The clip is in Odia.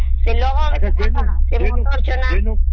ଜମି ଅଛିନା